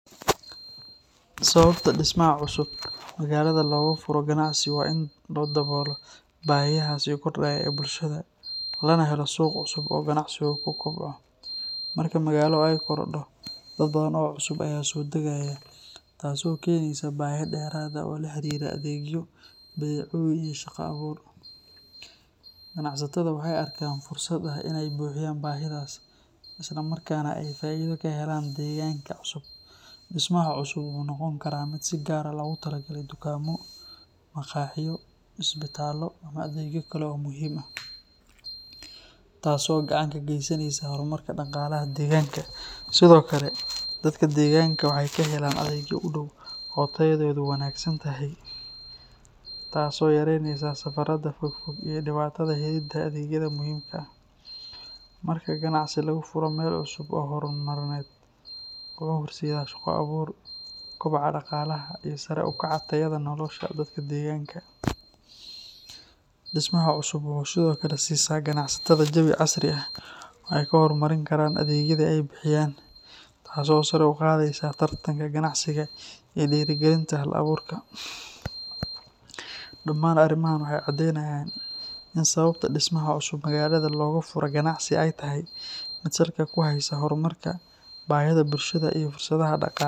Sababta dhismaha cusub looga furo ganacsi waa in la daboolo baahiyaha soo kordhaya ee bulshada, lana helo suuq cusub oo ganacsi. Ganacsigu wuxuu ku kobcaa marka magaalada ay korodho oo dad badan oo cusub ay soo dagaan. Taas waxay keentaa baahiyo dheeraad ah oo la xiriira badeecooyin iyo shaqo-abuur. Ganacsatada waxay u arkaan fursad ah in ay buuxiyaan baahidaas isla markaana ay faa’iido ka helaan deegaankaas cusub. Dhismaha cusub wuxuu noqon karaa mid si gaar ah loogu talagalay tukaamo, maqaaxiyo, isbitaallo ama adeegyo kale oo muhiim ah, taas oo gacan ka geysanaysa horumarka dhaqaalaha deegaanka. Sidoo kale, dadka waxay ka helaan adeegyo u dhow oo tayadoodu wanaagsan tahay, taas oo yareyneysa safarrada fogfog iyo dhibaatooyinka helidda adeegyada muhiimka ah. Marka ganacsi laga furo meel horay loo dejiyay, wuxuu horseedaa shaqo-abuur, kobaca dhaqaalaha, iyo sare u kaca tayada nolosha dadka deegaanka. Dhismaha cusub wuxuu sidoo kale ganacsatada siyaa jawi casri ah oo ay ku horumarin karaan adeegyada ay bixiyaan, taas oo sare u qaadayso tartanka ganacsiga iyo dhiirrigelinta hal-aburka. Dhamaan arrimahaan waxay caddeynayaan in sababta dhismaha cusub ee magaalada loogu furo ganacsi ay salka ku hayso horumarka bulshada iyo dhaqaalaha.